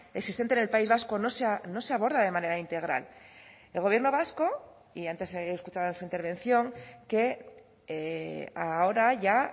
existente en el país vasco no se aborda de manera integral el gobierno vasco y antes he escuchado en su intervención que ahora ya